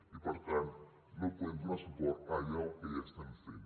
i per tant no podem donar suport a allò que ja estem fent